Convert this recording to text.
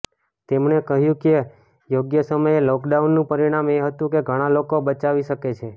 તેમણે કહ્યું કે યોગ્ય સમયે લોકડાઉનનું પરિણામ એ હતું કે ઘણા લોકો બચાવી શકે છે